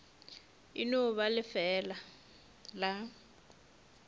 e no ba lefeela la